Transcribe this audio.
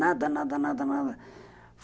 Nada, nada, nada.